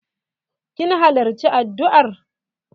Kin halarci addu'ar?